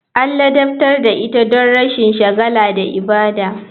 An ladabtar da ita don rashin shagala da ibada.